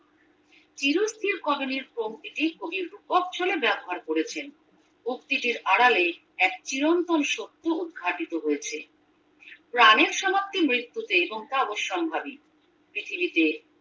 চিরস্থির কবিনীর পঙক্তিটির কবি রূপক ছলে ব্যবহার করেছেন উক্তিটির আড়ালে এক চিরন্তন সত্য উদ্ঘাটিত হয়েছে প্রাণের সমাপ্তি মৃত্যুতেএবং তা অবসম্ভাবী পৃথিবীতে